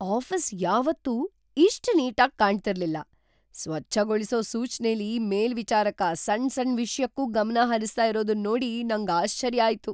Office ಯಾವತ್ತೂ ಇಷ್ಟು neat ಆಗಿ ಕಾಣ್ತಿರ್ಲಿಲ್ಲ. ಸ್ವಚ್ಛಗೊಳಿಸೊ ಸೂಚ್ನೆಲಿ ಮೇಲ್ವಿಚಾರಕ ಸಣ್ ಸಣ್ ವಿಷ್ಯಕ್ಕೂ ಗಮನ ಹರಿಸ್ತಾ ಇರೋದನ್ ನೋಡಿ ನಂಗ್ ಆಶ್ಚರ್ಯ ಆಯ್ತು.